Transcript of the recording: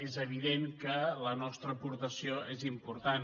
és evident que la nostra aportació és important